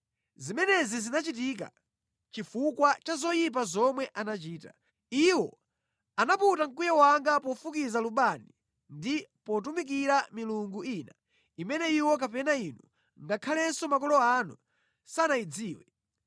Zimenezi zinachitika chifukwa cha zoyipa zomwe anachita. Iwo anaputa mkwiyo wanga pofukiza lubani ndi potumikira milungu ina imene iwo kapena inu ngakhalenso makolo anu sanayidziwe.